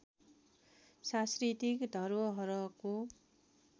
सांस्कृतिक धरोहरको